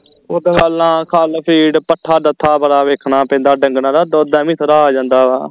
ਓਦਾਂ ਪਹਿਲਾਂ ਖੱਲ ਫੀਡ ਪੱਠਾ ਦੱਥਾ ਭਰਾ ਵੇਖਣਾ ਪੈਂਦਾ ਢੰਗਰਾਂ ਦਾ ਦੁੱਧ ਐਵੇਂ ਥੋੜਾ ਆ ਜਾਂਦਾ ਵਾ